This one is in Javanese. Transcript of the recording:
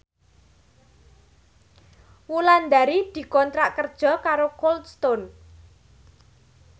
Wulandari dikontrak kerja karo Cold Stone